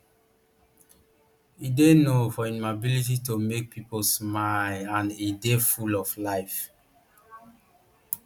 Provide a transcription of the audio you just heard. e dey known for im ability to make pipo smile and e dey full of life